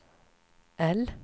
L